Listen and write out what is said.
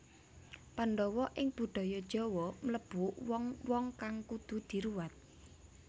Pandhawa ing budaya Jawa mlebu wong wong kang kudu diruwat